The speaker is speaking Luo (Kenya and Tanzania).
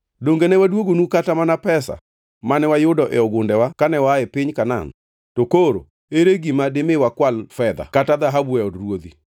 Donge ne waduogonu kata mana pesa mane wayudo e ogundewa kane waa e piny Kanaan. Koro ere gima dimi wakwal fedha kata dhahabu e od ruodhi?